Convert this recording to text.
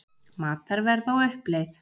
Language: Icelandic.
Matarverð á uppleið